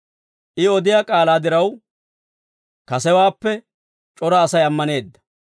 I odiyaa k'aalaa diraw, kasewaappe c'ora Asay ammaneedda;